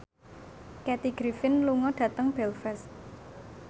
Kathy Griffin lunga dhateng Belfast